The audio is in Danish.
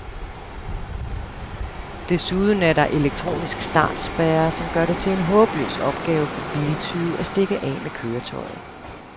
Desuden er der elektronisk startspærre, som gør det til en håbløs opgave for biltyve at stikke af med køretøjet.